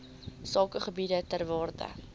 sakegebiede ter waarde